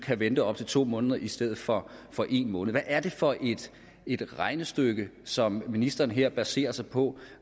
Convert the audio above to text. kan vente op til to måneder i stedet for for en måned hvad er det for et regnestykke som ministeren her baserer sig på